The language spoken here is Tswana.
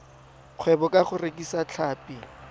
kgwebo ka go rekisa tlhapi